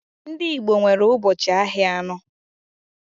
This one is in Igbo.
Ndị Igbo nwere ubochi ahịa anọ.